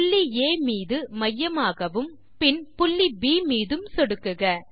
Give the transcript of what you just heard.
புள்ளி ஆ மீது மையமாகவும் பின் புள்ளி ப் மீதும் சொடுக்குக